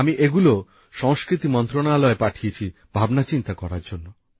আমি এগুলো সংস্কৃতি মন্ত্রণালয়ে পাঠিয়েছি ভাবনাচিন্তা করার জন্য